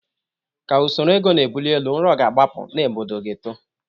Ka usoro ego na-ebuli elu, nrọ ga-agbapụ, na obodo ga-eto.